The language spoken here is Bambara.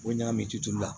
O ɲagami ki tulu la